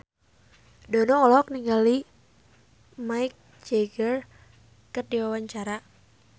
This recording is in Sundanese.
Dono olohok ningali Mick Jagger keur diwawancara